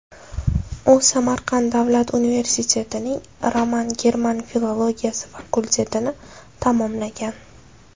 U Samarqand davlat universitetining roman-german filologiyasi fakultetini tamomlagan.